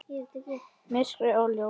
Myrkrið og ljósið.